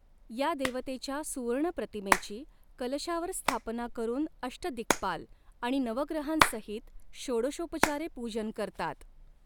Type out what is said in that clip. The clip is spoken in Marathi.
या देवतेच्या सुवर्णप्रतिमेची कलशावर स्थापना करून अष्टदिक्पाल आणि नवग्रहांसहित षोडषोपचारे पूजन करतात.